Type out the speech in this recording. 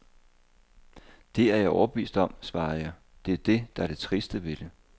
Det er jeg overbevist om, svarede jeg, det er det, der er det triste ved det.